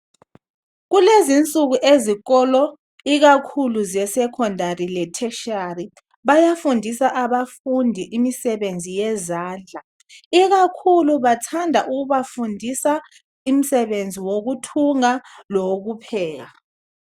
Kulezi insuku ezikolo ikakhulu zeSekhondari le"Tertiary" bayafundisa abafundi imisebenzi yezandla ikakhulu bathanda ukubafundisa umsebenzi wokuthunga lowokupheka.